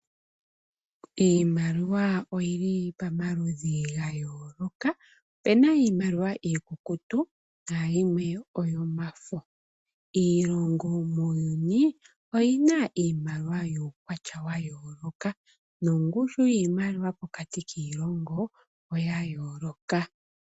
Iimaliwa oyili pamaludhi ga yooloka opuna iimaliwa iikukutu nayimwe oyomafo. Iilongo muuyuni oyina iimaliwa yukwatya wa yooloka nongushu yimaliwa pokati kiilongo oya yooloka